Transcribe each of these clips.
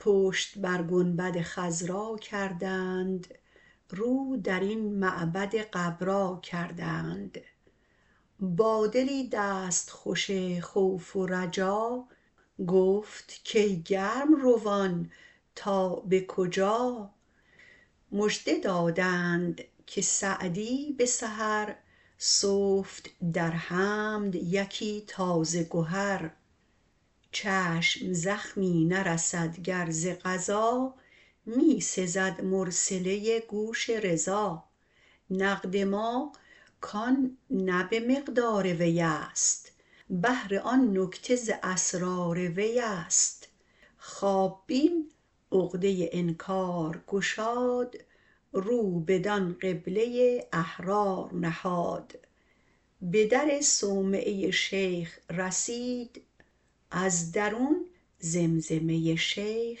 پشت بر گنبد خضرا کردند رو درین معبد غبرا کردند با دلی دستخوش خوف و رجا گفت کای گرم روان تا به کجا مژده دادند که سعدی به سحر سفت در حمد یکی تازه گهر چشم زخمی نرسد گر ز قضا می سزد مرسله گوش رضا نقد ما کان نه به مقدار وی است بهر آن نکته ز اسرار وی است خواب بین عقده انکار گشاد رو بدان قبله احرار نهاد به در صومعه شیخ رسید از درون زمزمه ی شیخ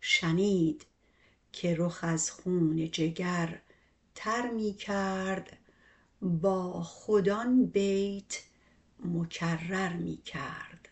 شنید که رخ از خون جگر تر می کرد با خود آن بیت مکرر می کرد